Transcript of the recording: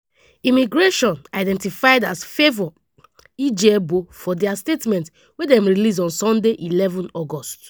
immigration identified as favour igiebor for dia statement wey dem release on sunday eleven august.